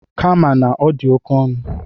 Kama na ọ dị oke ọnụ.